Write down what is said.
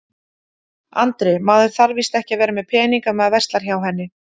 Andri: Maður þarf víst ekki að vera með pening ef maður verslar hjá henni?